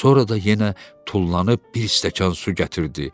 Sonra da yenə tullanıb bir stəkan su gətirdi.